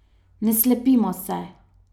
Ne slepimo se.